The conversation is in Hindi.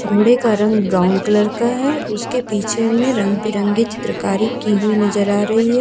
घोड़े का रंग ब्राउन कलर का है उसके पीछे में रंग-बिरंगी चित्रकारी की हुई नजर आ रही है।